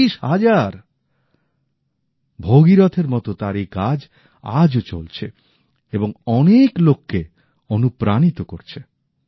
৩০ হাজার ভগীরথ এর মত তার এই কাজ আজও চলছে এবং অনেক লোক কে অনুপ্রাণিত করছে